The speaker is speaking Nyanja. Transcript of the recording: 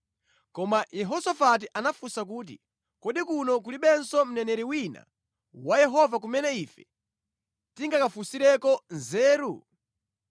Koma Yehosafati anafunsa kuti, “Kodi kuno kulibenso mneneri wina wa Yehova kumene ife tingakafunsireko nzeru?”